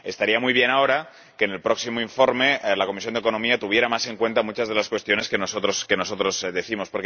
Estaría muy bien ahora que, en el próximo informe, la Comisión de Asuntos Económicos tuviera más en cuenta muchas de las cuestiones que nosotros señalamos.